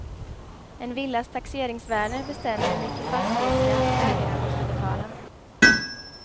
En villas taxeringsvärde bestämmer hur mycket fastighetsskatt ägaren måste betala.